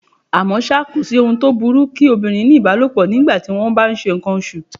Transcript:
À mọ́ ṣá, kòsí ohun tó burú kí obìnrin ní ìbálòpọ̀ ní ìgbà tí wón bá ńṣe ǹkan oṣù.